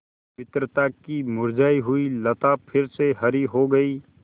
मित्रता की मुरझायी हुई लता फिर हरी हो गयी